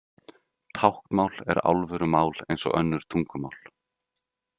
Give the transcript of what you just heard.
Táknmál er alvöru mál eins og önnur tungumál.